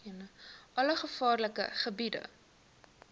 alle gevaarlike gebiede